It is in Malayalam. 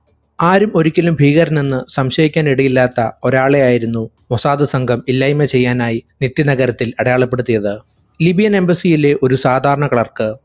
ആരും ഒരിക്കലും ഭീകരനെന്ന് സംശയിക്കാനിടയില്ലാത്ത ഒരാളെയായിരുന്നു മൊസാദ് സംഘം ഇല്ലായിമ ചെയ്യാനായി തെക്ക് നഗരത്തിൽ അടയാളപ്പെടുത്തിയത്. libian embassy ലെ ഒരു സാധാരണ clerk